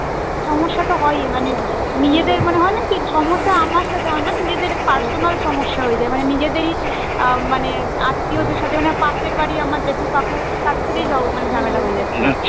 সমস্যা তো হয়ই মানে মানে নিজেদের মানে হয় না কি সমস্যা আমার সাথে হয় না নিজেদের Personal সমস্যা হয়ে যায় মানে নিজেদেরই মানে আত্মীয় দের সাথে মানে পাশের বাড়ি আমার জেঠু কাকু তাদের সাথেই মানে ঝামেলা হয়ে যায়